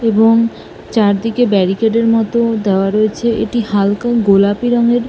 এবং চারদিকে ব্যারিকেড এর মত দেওয়া রয়েছে এটি হালকা গোলাপি রংয়ের।